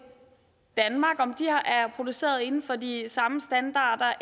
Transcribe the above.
danmark er produceret inden for de samme standarder